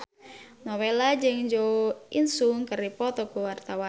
Nowela jeung Jo In Sung keur dipoto ku wartawan